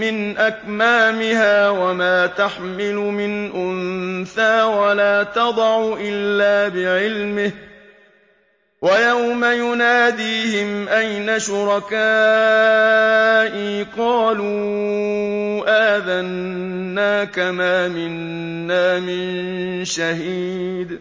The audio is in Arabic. مِّنْ أَكْمَامِهَا وَمَا تَحْمِلُ مِنْ أُنثَىٰ وَلَا تَضَعُ إِلَّا بِعِلْمِهِ ۚ وَيَوْمَ يُنَادِيهِمْ أَيْنَ شُرَكَائِي قَالُوا آذَنَّاكَ مَا مِنَّا مِن شَهِيدٍ